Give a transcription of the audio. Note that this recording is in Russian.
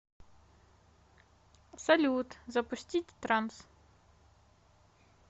салют запустить транс